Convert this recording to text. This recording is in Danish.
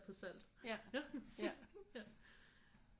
På salt ja ja